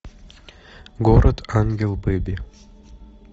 город ангел бэби